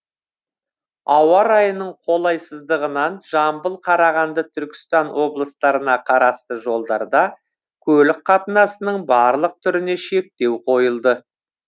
ауа райының қолайсыздығынан жамбыл қарағанды түркістан облыстарына қарасты жолдарда көлік қатынасының барлық түріне шектеу қойылды